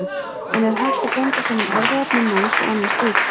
En er hægt að blanda saman erfðaefni manns og annars dýrs?